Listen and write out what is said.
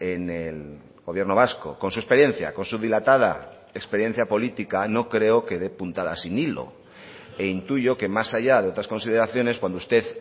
en el gobierno vasco con su experiencia con su dilatada experiencia política no creo que de puntadas sin hilo e intuyo que más allá de otras consideraciones cuando usted